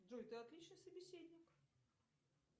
джой ты отличный собеседник